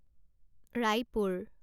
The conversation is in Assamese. ৰায়পুৰ